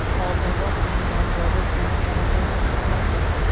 Oldinroq uning nomzodi Senat tomonidan tasdiqlangandi.